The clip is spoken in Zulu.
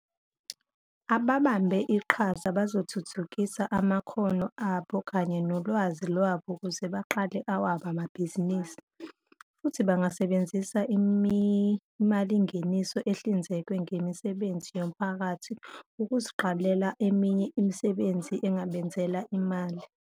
Ababambe iqhaza bazothuthukisa amakhono abo kanye nolwazi lwabo ukuze baqale awabo amabhizinisi, futhi bangasebenzisa imalingeniso ehlinzekwe ngemisebenzi yomphakathi ukuziqalela eminye imisebenzi engabenzela imali.